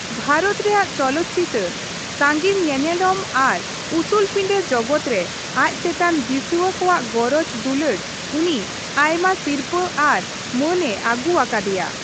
ᱵᱷᱟᱨᱚᱛ ᱨᱮᱭᱟᱜ ᱪᱚᱞᱚᱛᱪᱤᱛᱟᱹᱨ, ᱥᱟᱺᱜᱤᱧ ᱧᱮᱱᱮᱞᱚᱢ ᱟᱨ ᱩᱥᱩᱞᱯᱤᱸᱰᱟᱹ ᱡᱚᱜᱚᱫ ᱨᱮ ᱟᱡ ᱪᱮᱛᱟᱱ ᱫᱤᱥᱣᱟᱹ ᱠᱚᱣᱟᱜ ᱜᱚᱨᱚᱡᱽ ᱫᱩᱞᱟᱹᱲ ᱩᱱᱤ ᱟᱭᱢᱟ ᱥᱤᱨᱯᱟᱹ ᱟᱨ ᱢᱟᱹᱱᱮ ᱟᱹᱜᱩ ᱟᱠᱟᱫᱮᱭᱟ ᱾